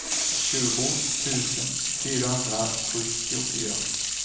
tjugo tusen fyrahundrasjuttiofyra